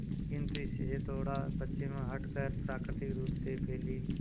किंतु इससे थोड़ा पश्चिम हटकर प्राकृतिक रूप से फैली